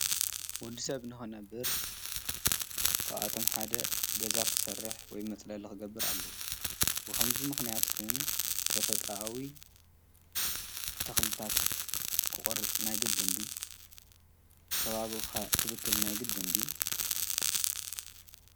ወድሰብ ንኽነብር ካብኣቶም ሓደ ገዛ ክሰርሕ ወይ መፅለሊ ክገብር ኣለዎ ብኸምዚ ምክንያት ግን ተፈጥሮኣዊ ተኽልታት ክቆርጽ ናይ ግድን ድዩ? ከባቢ ኸ ክብክል ናይ ግድን ድዩ ?